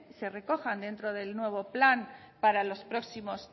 se recojan dentro del nuevo plan para los próximos